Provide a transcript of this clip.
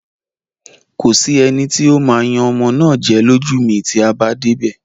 Kò sí eni tí ó ó máa yan ọmọ náà jẹ lójú mi tí a bá dé ibè.